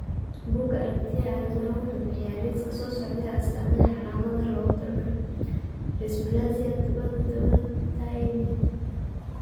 Bugga Aragtiyaha Aadanaha wuxuu bixiyaa liiska soo socda ee astaamaha iyo calaamadaha loogu talagalay dysplasia dabada dabada Thymic.